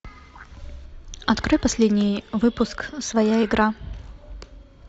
открой последний выпуск своя игра